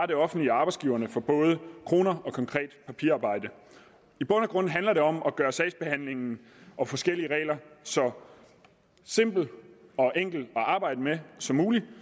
det offentlige og arbejdsgiverne for både kroner og konkret papirarbejde i bund og grund handler det om at gøre sagsbehandlingen og forskellige regler så simple og enkle at arbejde med som muligt